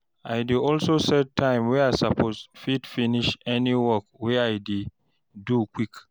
I dey also set time wey I soppose fit finish any work wey I dey do quick